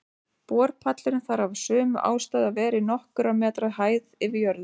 Borpallurinn þarf af sömu ástæðu að vera í nokkurra metra hæð yfir jörðu.